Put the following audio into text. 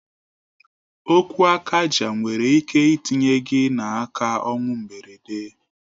Okwu akaja nwere ike itinye gị n'aka ọnwụ mgberede.